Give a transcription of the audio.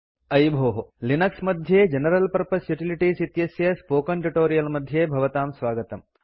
अयि भोः लिनक्स मध्ये जनरल पर्पज़ युटिलिटीज़ इत्यस्य स्पोकेन ट्यूटोरियल् मध्ये भवतां स्वागतम्